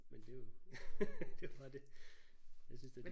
Men det er jo det er jo bare det. Jeg synes det